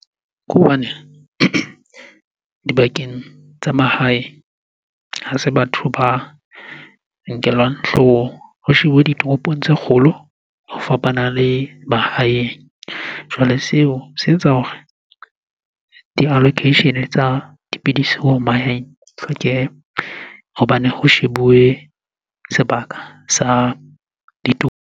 Ke hobane dibakeng tsa mahae, ha se batho ba nkelwang hloohong. Ho shebuwe ditoropong tse kgolo ho fapana le mahaeng. Jwale seo se etsa hore di-allocation-e tsa dipidisi mahaeng di hlokehe hobane ho shebuwe sebaka sa .